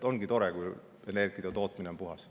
Ongi tore, kui energiatootmine on puhas.